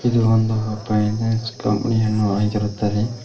ಇದು ಒಂದು finance company ಯನ್ನು ಆಗಿರುತ್ತದೆ.